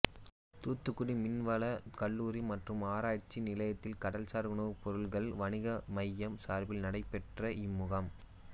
தூத்துக்குடி மீன்வளக் கல்லூரி மற்றும் ஆராய்ச்சி நிலையத்தில் கடல்சாா் உணவுப் பொருள்கள் வணிக மையம் சாா்பில் நடைபெற்ற இம்முகாம்